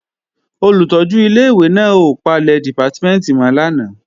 Olùtọ́jú ilé-ìwé náà ò palẹ̀ dìpátímẹ̀ntì mọ́ lánàá